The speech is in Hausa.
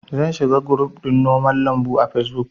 Zan shiga guruf ɗin noman lambu a fesbuk